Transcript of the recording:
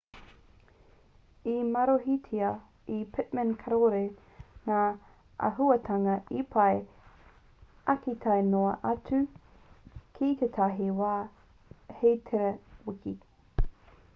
i marohitia e pittman kāore ngā āhuatanga e pai ake tae noa atu ki tētahi wā hei tērā wiki